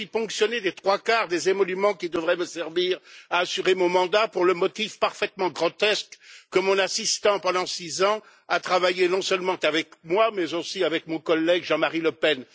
Je suis ponctionné des trois quarts des émoluments qui devraient me servir à assurer mon mandat pour le motif parfaitement grotesque que mon assistant, pendant six ans, a travaillé non seulement avec moi, mais aussi avec mon collègue Jean Marie Le Pen.